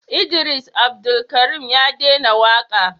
Idris Abdulkarim ya dena waka